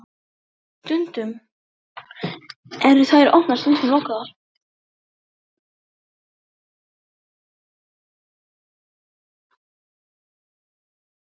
Stundum eru þær opnar, stundum lokaðar.